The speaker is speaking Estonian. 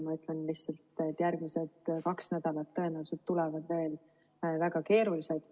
Ma ütlen lihtsalt, et järgmised kaks nädalat tõenäoliselt tulevad veel väga keerulised.